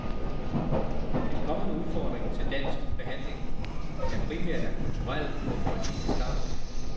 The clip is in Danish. Den kommende udfordring til den danske behandling er primært af kulturel og humanistisk art.